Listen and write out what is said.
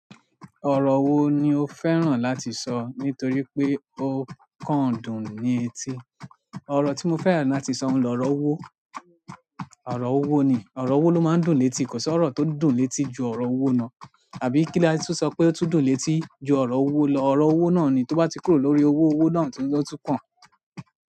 Ọrọ wo ni o fẹ́ràn láti sọ nítorí pé o kán dùn ni eti? Ọrọ tí mo fẹ́ràn láti sọ n lo ọrọ ọwọ́, ọrọ ọwọ́ ni, ọrọ ọwọ́ ló máa ń dùn létí kò sí ọ̀rọ̀ tó dùn létí ju ọrọ ọwọ́ lọ. Àbí kí la lẹ tú sọ pé ó tún dùn létí ju ọrọ owó lọ. Ọrọ owó náà ni, tó bá ti kúrò lórí owó owó náà ni ó tun kàn.